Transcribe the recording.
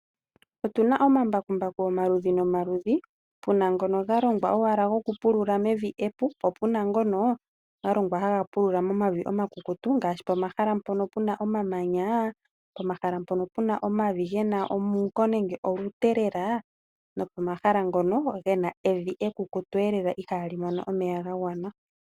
Otuna omambakumbaku omaludhi nomaludhi puna ngono ga longwa owala gokupulula mevi epu nopuna ngono galongwa haga pulula pomavi omakukutu ngaashi pomahala mpoka pena omamanya, pomahala mpoka pena omavi gena omuuko nenge olute lela nopo mahala ngono gena evi ekukutu lela ihali mono omeya gagwana.